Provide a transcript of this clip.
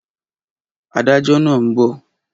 Adájọ́ náà ń bọ̀